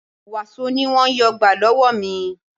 Wàsó ni wọn yóò gbà lọ́wọ́ mi